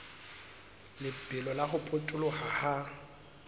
lebelo la ho potoloha ha